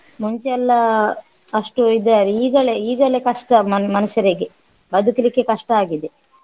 ಮುಂಚೆ ಎಲ್ಲ ಅಷ್ಟು ಈಗಲೆ ಈಗಲೆ ಕಷ್ಟ ಮನ್~ ಮನುಷ್ಯರಿಗೆ ಬದುಕ್ಲಿಕ್ಕೆ ಕಷ್ಟ ಆಗಿದೆ.